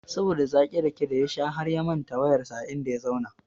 Saboda zakin rake da ya sha harya manta wayar sa a inda ya zauna